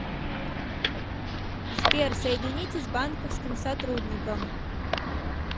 сбер соедините с банковским сотрудником